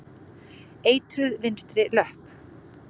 Eitruð vinstri löpp.